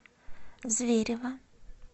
зверево